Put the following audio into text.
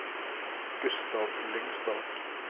Gustav Lyngstad